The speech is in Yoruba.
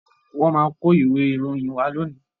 Wọ́n máa kó ìwé ìròyìn wá lónìí.